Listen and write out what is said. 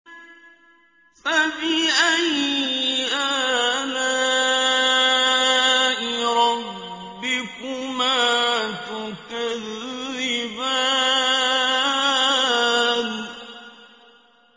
فَبِأَيِّ آلَاءِ رَبِّكُمَا تُكَذِّبَانِ